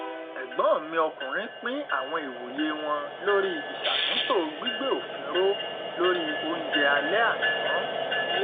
ẹgbọn mi ọkùnrin pín àwọn ìwòye wọn lórí ìṣàtúntò gbígbé òfin ró lórì oúnjẹ alẹ àná